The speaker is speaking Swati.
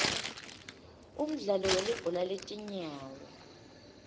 umdlalo welibhola letinyawo